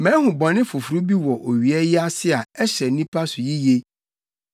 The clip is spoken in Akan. Mahu bɔne foforo bi wɔ owia yi ase a ɛhyɛ nnipa so yiye: